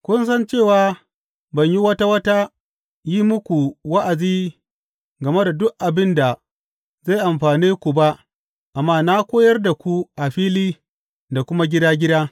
Kun san cewa ban yi wata wata yin muku wa’azi game da duk abin da zai amfane ku ba amma na koyar da ku a fili da kuma gida gida.